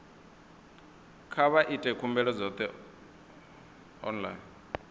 kha vha ite khumbelo dzoṱhe online